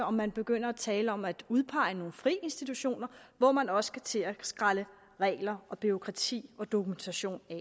og man begynder at tale om at udpege nogle friinstitutioner hvor man også skal til at skrælle regler og bureaukrati og dokumentation af